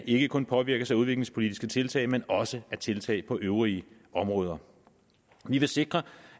ikke kun påvirkes af udviklingspolitiske tiltag men også af tiltag på øvrige områder vi vil sikre